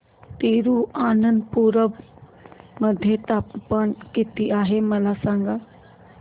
तिरूअनंतपुरम मध्ये तापमान किती आहे मला सांगा